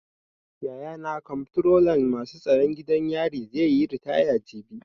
Yayana Komftrolan masu tsaron gidan yari zai yi ritaya jibi.